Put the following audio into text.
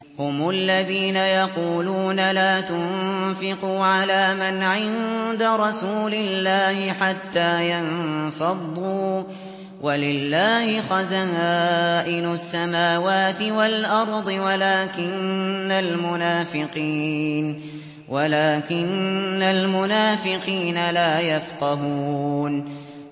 هُمُ الَّذِينَ يَقُولُونَ لَا تُنفِقُوا عَلَىٰ مَنْ عِندَ رَسُولِ اللَّهِ حَتَّىٰ يَنفَضُّوا ۗ وَلِلَّهِ خَزَائِنُ السَّمَاوَاتِ وَالْأَرْضِ وَلَٰكِنَّ الْمُنَافِقِينَ لَا يَفْقَهُونَ